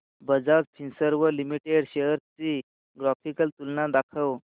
Bajaj Finserv limited shares ची graphical तुलना दाखव